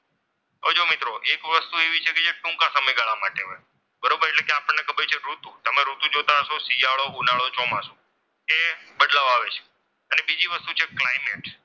હવે જો મિત્રો એક વસ્તુ એવી છે જે ટૂંકા સમય ગાળા માટે હોય છે. બરોબર છે એટલે કે આપણને ખબર છે ઋતુ તમે ઋતુ જોતા હશો શિયાળો ઉનાળો ચોમાસું કે બદલાવ આવે છે અને બીજી વસ્તુ છે climax.